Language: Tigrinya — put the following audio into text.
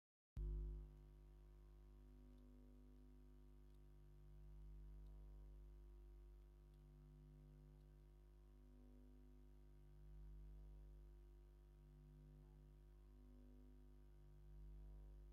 ቀይሕ ምንፃፍ ተነፂፉ ሓንቲ መንእሰይ ኣብቲ ምንፃፍ ሓፂር ጉርዲ ፀሊም ጌራ ናይ ላዕላ ጃኬት ጌራ ትከድ ኣላ ሰባት እውን ኮፍ ኢሎም ይሪእዋ ኣለዉ እዛ ጋይ እንታይ ትገብር ኣላ ?